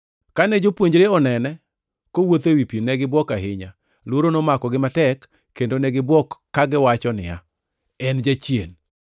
Kane jopuonjre onene kowuotho ewi pi, ne gibuok ahinya. Luoro nomakogi matek, kendo ne gibuok kagiwacho niya, “En jachien!”